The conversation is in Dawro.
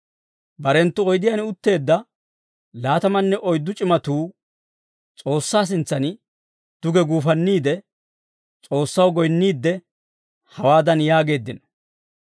Barenttu oydiyaan utteedda laatamanne oyddu c'imatuu S'oossaa sintsan duge guufanniide, S'oossaw goyinniidde hawaadan yaageeddino;